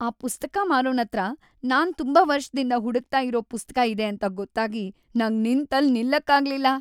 ಆ ಪುಸ್ತಕ ಮಾರೋನತ್ರ ನಾನ್ ತುಂಬಾ ವರ್ಷ್‌ದಿಂದ ಹುಡುಕ್ತಾ ಇರೋ ಪುಸ್ತಕ ಇದೆ ಅಂತ ಗೊತ್ತಾಗಿ ನಂಗ್‌ ನಿಂತಲ್‌ ನಿಲ್ಲಕ್ಕಾಗ್ಲಿಲ್ಲ.